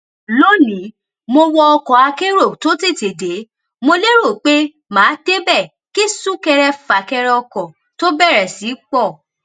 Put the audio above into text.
lónìí mo wọ ọkọakérò tó tètè dé mo lérò pé màá débè kí súnkẹrẹfàkẹrẹ ọkò tó bèrè sí í pò